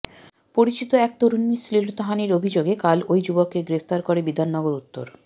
পরিচিত এক তরুণীর শ্লীলতাহানির অভিযোগে কাল ওই যুবককে গ্রেফতার করে বিধাননগর উত্তর